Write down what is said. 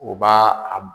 U b'a a b